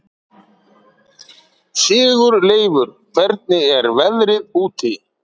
Sigurleifur, hvernig er veðrið úti?